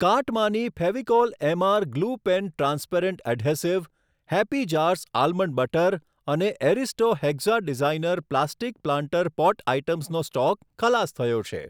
કાર્ટમાંની Fevicol MR glue pen transparent adhesive, happy jars almond butter અને Aristo hexa designer plastic planter pot આઇટમ્સનો stock ખલાસ થયો છે.